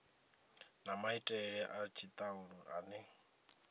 na maitele a tshitalula ane